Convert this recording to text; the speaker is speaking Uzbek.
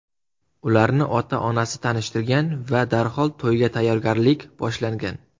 Ularni ota-onasi tanishtirgan va darhol to‘yga tayyorgarlik boshlangan.